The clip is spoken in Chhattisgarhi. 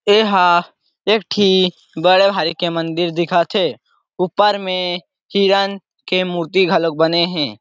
एहा एक ठी मिट्ठी बड़े भारीक के मंदिर दिखत हे ऊपर में हिरण के मूर्ति के घलोक बने हे।